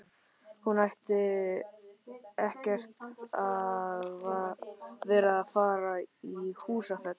Hann ætti ekkert að vera að fara í Húsafell.